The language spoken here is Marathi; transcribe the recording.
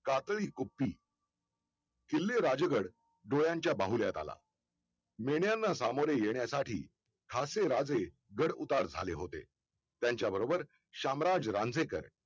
कातळी गुप्ती किल्ले राजगड डोळ्यांच्या बाहुल्या झाला मेल्यानं सामोर्य येण्यासाठी ठासे राजे गड उतार झाले होते त्यांच्या बरोबर शामराज रांझेकर